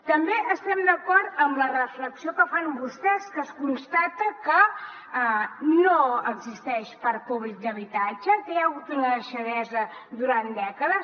també estem d’acord en la reflexió que fan vostès que es constata que no existeix parc públic d’habitatge que hi ha hagut una deixadesa durant dècades